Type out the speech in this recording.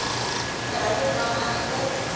verhouding mag egter